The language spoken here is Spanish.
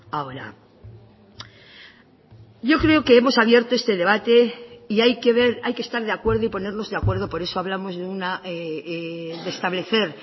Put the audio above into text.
ahora yo creo que hemos abierto este debate y hay que estar de acuerdo y ponernos de acuerdo por eso hablamos de establecer